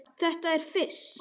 Þetta er fis.